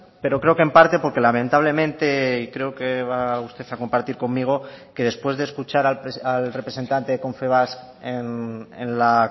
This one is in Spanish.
pero creo que en parte porque lamentablemente y creo que va usted a compartir conmigo que después de escuchar al representante de confebask en la